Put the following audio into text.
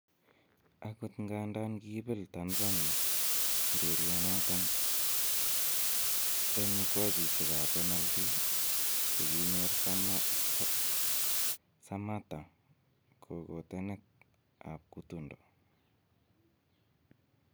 Agot ngandan kiiibel Tanzania urerionoton en mukwachishek ab penaltit, ko kinyor Sammata kagotenet ab kutundo